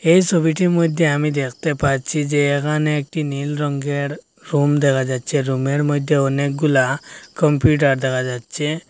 এই সবিটির মধ্যে আমি দেখতে পাচ্ছি যে এখানে একটি নীল রঙ্গের রুম দেখা যাচ্ছে রুমের মধ্যে অনেকগুলা কম্পিউটার দেখা যাচ্ছে।